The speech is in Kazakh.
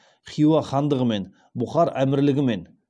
хиуа хандығымен бұхар әмірлігімен